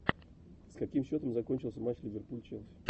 с каким счетом закончился матч ливерпуль челси